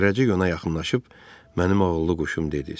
Zərrəcik ona yaxınlaşıb, mənim oğurluq quşum dedi.